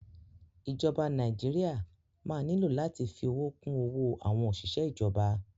Ìjọba Nàíjíríà máa nílò láti fi owó kún owó àwọn òṣìṣẹ́ ìjọba.